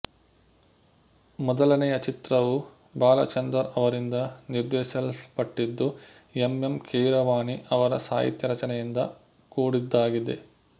ಮೊದಲನೆಯ ಚಿತ್ರವು ಬಾಲಚಂದರ್ ಅವರಿಂದ ನಿರ್ದೇಶಿಸಲ್ಪಟ್ಟಿದ್ದು ಎಂ ಎಂ ಕೀರವಾಣಿ ಅವರ ಸಾಹಿತ್ಯ ರಚನೆಯಿಂದ ಕೂಡಿದ್ದಾಗಿದೆ